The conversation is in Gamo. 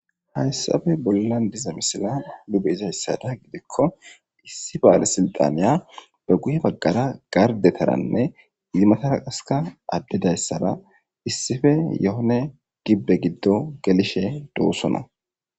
Hayssappe bolla diza misile nu be'izayssa giddikko issi balesilxxaniya be guye bagara be gardetaranne hemetada issippe yehone gibbe giddo gelishe de'osona. .